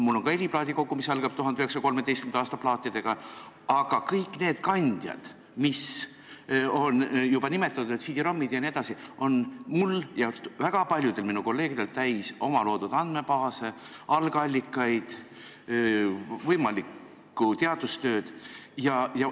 Mul on ka heliplaadikogu, mis algab 1913. aasta plaatidega, aga kõik need kandjad, mida on juba nimetatud, CD-ROM-id jne, on minul ja ka väga paljudel mu kolleegidel täis omaloodud andmebaase, algallikaid, võimalikku teadustööd jms.